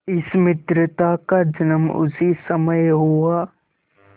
इस मित्रता का जन्म उसी समय हुआ